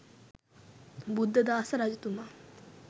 බුද්ධදාස රජතුමා